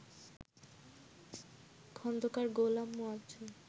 Khandakar Golam Moazzem